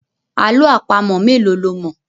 Àlọ́ àpamọ̀ mélòó lo mọ̀.